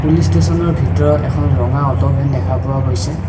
Police ষ্টেচনৰ ভিতৰত এখন ৰঙা অ'টো ভেন দেখা পোৱা গৈছে।